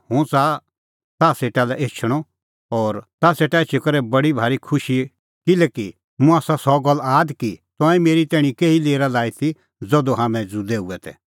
हुंह च़ाहा ताह सेटा लै एछणअ और ताह सेटा एछी करै हणीं बडी भारी खुशी किल्हैकि मुंह आसा सह गल्ल आद कि तंऐं मेरी तैणीं केही लेरा लाई ती ज़धू हाम्हैं ज़ुदै हुऐ तै